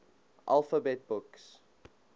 alphabet books